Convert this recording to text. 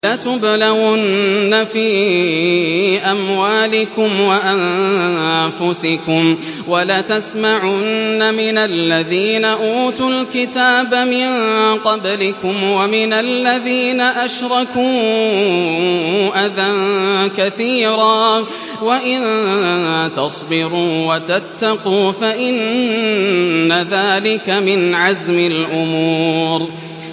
۞ لَتُبْلَوُنَّ فِي أَمْوَالِكُمْ وَأَنفُسِكُمْ وَلَتَسْمَعُنَّ مِنَ الَّذِينَ أُوتُوا الْكِتَابَ مِن قَبْلِكُمْ وَمِنَ الَّذِينَ أَشْرَكُوا أَذًى كَثِيرًا ۚ وَإِن تَصْبِرُوا وَتَتَّقُوا فَإِنَّ ذَٰلِكَ مِنْ عَزْمِ الْأُمُورِ